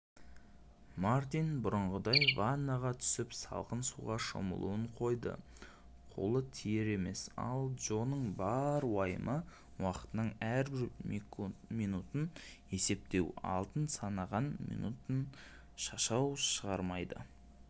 мартин бұрынғыдай ваннаға түсіп салқын суға шомылуын қойды қолы тиер емес ал джоның бар уайымы уақытының әрбір минутын есептеу алтын санаған минутын шашау шығармайды